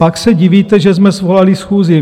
Pak se divíte, že jsme svolali schůzi.